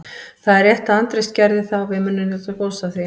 Það er rétt að Andrés gerði það og við munum njóta góðs af því.